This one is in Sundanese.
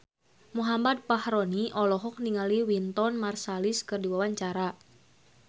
Muhammad Fachroni olohok ningali Wynton Marsalis keur diwawancara